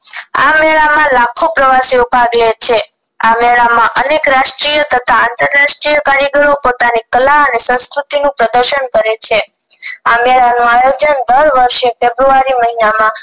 આ મેળા માં લાખો પ્રવાસીઓ ભાગ લે છે આ મેળા માં અનેક રાષ્ટીય તથા આંતરરાષ્ટીય કાર્યકરો પોતાની કળા અને સંસ્કૃતિ નું પ્રદશન કરે છે આ મેળા નું આયોજન દર વર્ષે ફેબ્રુઆરી મહિનામાં